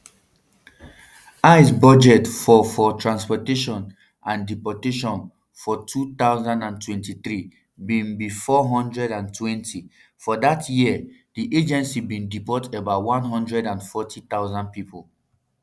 ice budget for for transportation and deportation for two thousand and twenty-three bin be four hundred and twentym for dat year di agency um bin deport about one hundred and forty thousand pipo